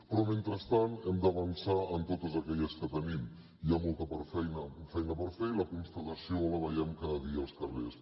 però mentrestant hem d’avançar en totes aquelles que tenim i hi ha molta feina per fer i la constatació la veiem cada dia als carrers